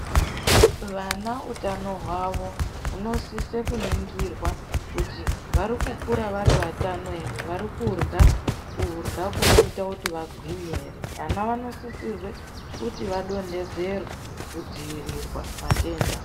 Vana utano hwavo hunosisa kuningirwa kuti vari kukura vari vatano ere. Vari kudyra, kudyra kunoita kuti vagwinye ere? Vana vanosisirwe kuti vadonhedzerwe kudziirirwa matenda.